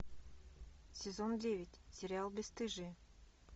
сезон девять сериал бесстыжие